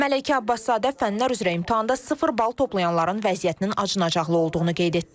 Məleykə Abbaszadə fənlər üzrə imtahanda sıfır bal toplayanların vəziyyətinin acınacaqlı olduğunu qeyd etdi.